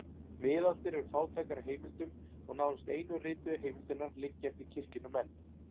Miðaldir eru fátækar af heimildum og nánast einu rituðu heimildirnar liggja eftir kirkjunnar menn.